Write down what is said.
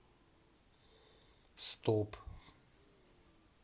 стоп